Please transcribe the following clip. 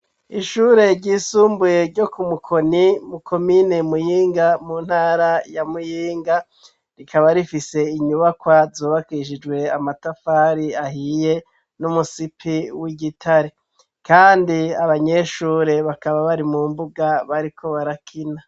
Ishure ryisumbuye ryo ku Mukoni mukomine Muyinga mu ntara ya Muyinga, rikaba rifise inyubakwa zubakishijwe amatafari ahiye n'umusipi w'igitare, kandi abanyeshure bakaba bari mu mbuga bariko barakina.